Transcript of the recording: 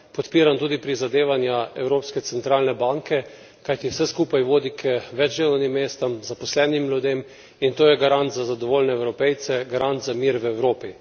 Podpiram tudi prizadevanja Evropske centralne banke, kajti vse skupaj vodi k več delovnim mestom, zaposlenim ljudem, in to je garant za zadovoljne Evropejce, garant za mir v Evropi.